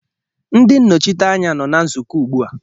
Ndị nnọchiteanya nọ na nzukọ ugbu a